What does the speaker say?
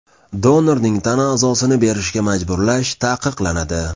Donorning tana a’zosini berishga majburlash taqiqlanadi.